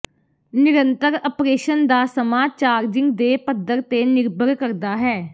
ਨਿਰੰਤਰ ਅਪ੍ਰੇਸ਼ਨ ਦਾ ਸਮਾਂ ਚਾਰਜਿੰਗ ਦੇ ਪੱਧਰ ਤੇ ਨਿਰਭਰ ਕਰਦਾ ਹੈ